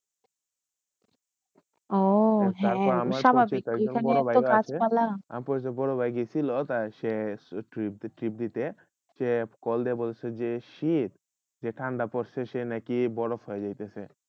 ও হয়ে স্বাভাবিক মানে একটু কাজ তারপর বড় ভাই গেসি trip দিতে সে call দিয়ে বলতেসিল যে শীত যে ঠান্ডা পরশে যে সেই বরফ হইয়ে গেশে